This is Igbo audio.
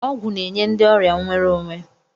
Ọgwụ na-enye ndị ọrịa nwere onwe.